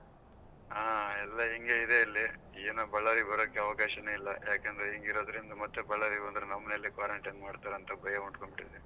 ಹಾ ಎಲ್ಲ ಹಿಂಗೇ ಇದೆ ಇಲ್ಲಿ ಏನೋ Ballari ಗೆ ಬರಾಕ್ ಅವಕಾಶನೇ ಇಲ್ಲಾ ಯಾಕಂದ್ರೆ ಹಿಂಗ್ ಇರೋದ್ರಿಂದ ಮತ್ತ್ Ballari ಬಂದ್ರೆ ನಮ್ಮನೆಲ್ಲಿ quarantine ಮಾಡ್ತಾರೆ ಅಂತ ಭಯ ಹುಟ್ಕೊಂಡ್ಬಿಟ್ಟಿದೆ.